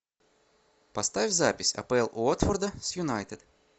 поставь запись апл уотфорда с юнайтед